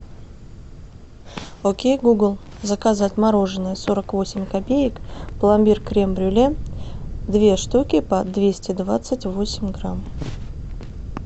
окей гугл заказать мороженое сорок восемь копеек пломбир крем брюле две штуки по двести двадцать восемь грамм